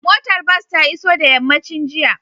Motar bas ta iso da yammacin jiya